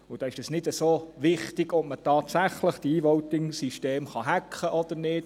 Da ist es nicht so wichtig, ob man diese E-VotingSysteme tatsächlich hacken kann oder nicht.